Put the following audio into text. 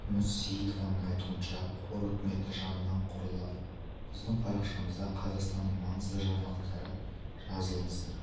күміс сеиітованың айтуынша қор үкіметі жанынан құрылады біздің парақшамызда қазақстанның маңызды жаңалықтары жазылыңыздар